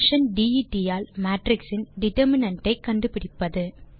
function det ஆல் matrix இன் determinant ஐ கண்டுபிடிப்பது